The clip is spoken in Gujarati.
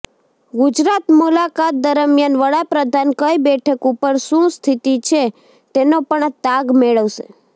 ગુજરાત મુલાકાત દરમિયાન વડાપ્રધાન કઈ બેઠક ઉપર શું સ્થિતિ છે તેનો પણ તાગ મેળવશે